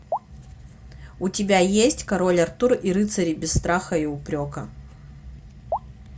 у тебя есть король артур и рыцари без страха и упрека